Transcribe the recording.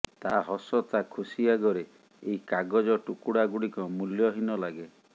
ତା ହସ ତା ଖୁସି ଆଗରେ ଏଇ କାଗଜ ଟୁକୁଡ଼ାଗୁଡିକ ମୂଲ୍ୟହୀନ ଲାଗେ